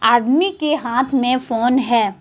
आदमी के हाथ में फोन है।